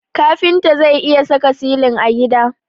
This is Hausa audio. Kafinta zai iya saka silin a gida.